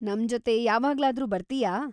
ನಮ್ಜೊತೆ ಯಾವಾಗ್ಲಾದ್ರೂ ಬರ್ತಿಯಾ?